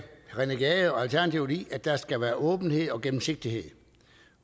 rené gade og alternativet i at der skal være åbenhed og gennemsigtighed